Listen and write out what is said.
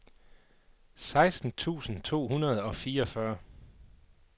seksten tusind to hundrede og fireogfyrre